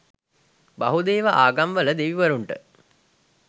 බහුදේව ආගම්වල දෙවිවරුන්ට